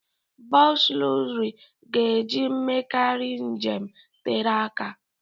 Bọs lọxụrị ka eji emekarị njem tere aka.